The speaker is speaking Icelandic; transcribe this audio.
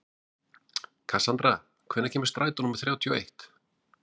Kassandra, hvenær kemur strætó númer þrjátíu og eitt?